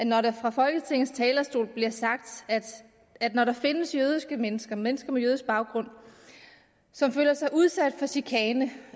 når der fra folketingets talerstol bliver sagt at når der findes mennesker mennesker med jødisk baggrund som føler sig udsat for chikane